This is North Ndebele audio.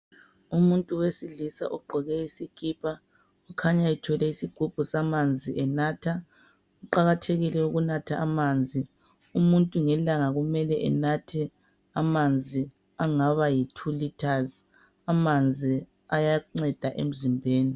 Umuntu wesilisa ugqoke isikipa .Ukhanya ethwele isigubhu samanzi enatha .Kuqakathekile ukunatha amanzi . Umuntu ngelanga kumele enathe amanzi angaba yi 2 litres .Amanzi ayanceda emzimbeni .